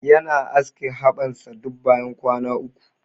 Yana aske haɓan sa duk bayan kwana uku.